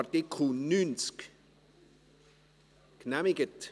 Dieser ist jetzt einfach so im Gesetz enthalten.